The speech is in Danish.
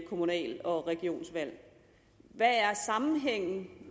kommunal og regionsvalg hvad er sammenhængen